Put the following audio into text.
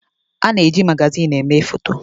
A na-eji magazin eme foto foto.